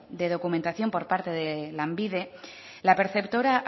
de documentación por parte de lanbide la perceptora